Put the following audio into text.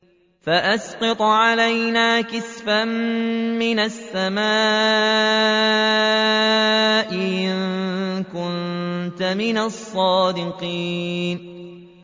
فَأَسْقِطْ عَلَيْنَا كِسَفًا مِّنَ السَّمَاءِ إِن كُنتَ مِنَ الصَّادِقِينَ